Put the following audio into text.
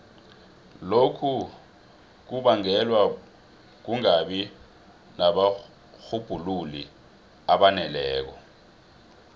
lokhu kubangelwa kungabi nabarhubhululi abaneleko